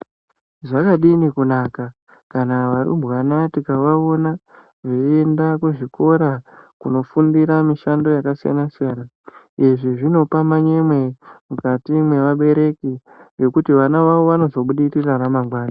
Zvakadini kunaka kana varumbwana tikavaona veyienda kuzvikora, kundofundira mishando yakasiyana-siyana, izvi zvinopa manyemwe mukati mwevabereki ,ngekuti vana vavo vanozobudirira ramangwani.